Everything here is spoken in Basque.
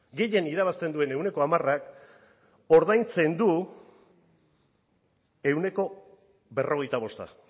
gehien irabazten duen ehuneko hamarak ordaintzen du ehuneko berrogeita bosta